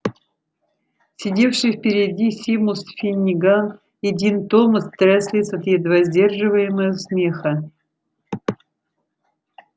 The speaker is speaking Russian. сидевшие впереди симус финниган и дин томас тряслись от едва сдерживаемого смеха